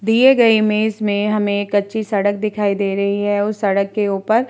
दिए गए इमेज में हमें एक कच्ची सड़क दिखाई दे रही है उस सड़क के ऊपर--